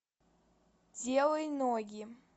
делай ноги